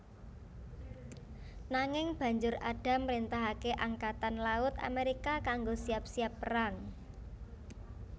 Nanging Banjur Adams mrentahake Angkatan Laut Amerika kanggo siap siap perang